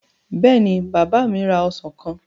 Bẹ́ẹ̀ni, bàbá mi ra ọsàn kan.